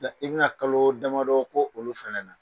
i bɛ na kalo damadɔ k' olu fɛnɛ na.